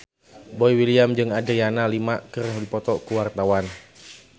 Boy William jeung Adriana Lima keur dipoto ku wartawan